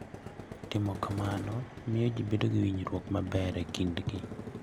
Timo kamano miyo ji bedo gi winjruok maber e kindgi.